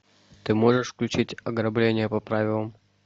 ты можешь включить ограбление по правилам